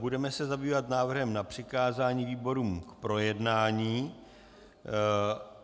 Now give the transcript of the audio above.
Budeme se zabývat návrhem na přikázání výborům k projednání.